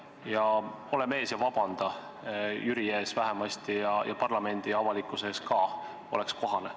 Ja ole mees ja vabanda Jüri ees vähemasti ja parlamendi ja avalikkuse ees ka – oleks kohane.